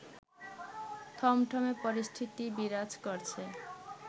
থমথমে পরিস্থিতি বিরাজ করছে